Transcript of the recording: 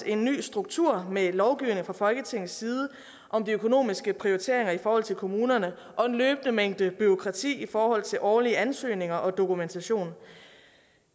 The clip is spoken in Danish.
en ny struktur med lovgivning fra folketingets side om de økonomiske prioriteringer i forhold til kommunerne og en løbende mængde bureaukrati i forhold til årlige ansøgninger og dokumentation